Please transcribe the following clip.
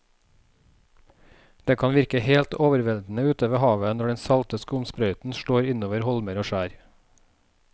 Det kan virke helt overveldende ute ved havet når den salte skumsprøyten slår innover holmer og skjær.